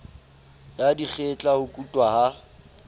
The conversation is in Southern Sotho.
ya dikgetla ho kutwa ha